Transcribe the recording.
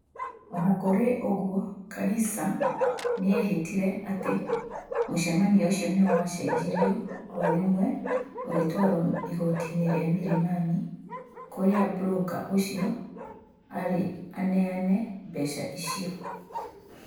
O na kũrĩ ũguo, Karisa nĩ eehĩtire atĩ mũcemanio ũcio ni wa cenjirwo o rĩmwe ugitwarwo igotiini rĩa Milimani, kũria broka ũciio ari aneane mbeca icio.